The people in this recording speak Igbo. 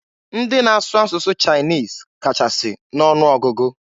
Ndị na-asụ asụsụ Chinese kachasị n'ọnụ ọgụgụ.